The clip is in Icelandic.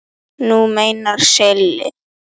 Þú meinar Silli?